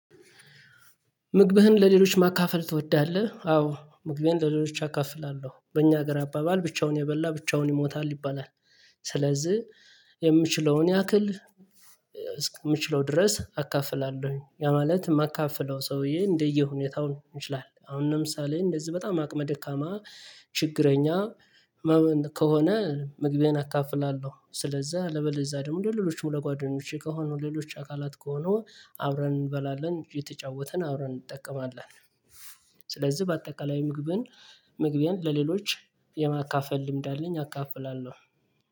ምግብህን ለሌሎች ማካፈል ትወዳለህ? አዎ ምግቤን ለሌሎች አካፍላለሁ በእኛ ሀገር አባባል ብቻውን የበላ ብቻውን ይሞታል ይባላል። ስለዚህ የምችለውን ያክል እስከምችለው ድረስ አካፍላለሁኝ ያ ማለት የማካፍለው ሰውዬ እንደየሁኔታው መሆን ይችላለን። አሁን ለምሳሌ እንደዚህ በጣም አቅመ ደካማ ችግረኛ ከሆነ ምግቤን አካፍላለሁ። ስለዛ አለበለዛ ደግሞ ለሌሎችም ለጓደኞቼ ከሆኑ ሌሎች አካላት ከሆኑ አብረን እንበላለን። የተጫወትን አብረን እንጠቀማለን። ስለዚህ በአጠቃላይ ምግብን ምግቤን ለሌሎች የማካፈል ልምድ አለኝ። አካፍላለሁ